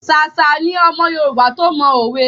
Ṣàṣà ni ọmọ Yorùbá to mọ òwe.